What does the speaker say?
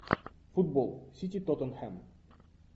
футбол сити тоттенхэм